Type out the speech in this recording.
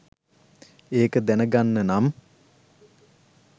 ඒක දැනගන්නනම්